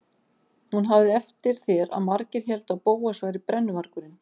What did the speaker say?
Hún hafði eftir þér að margir héldu að Bóas væri brennuvargurinn.